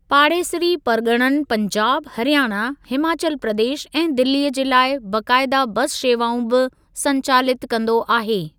पाड़ेसिरी परगि॒णनि पंजाब, हरियाणा, हिमाचल प्रदेश ऐं दिल्लीअ जे लाइ बाक़ाइदा बस शेवाऊं बि संचालितु कंदो आहे।